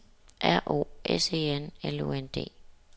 R O S E N L U N D